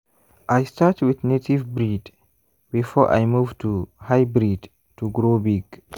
i start with native breed before i move to hybrid to grow big.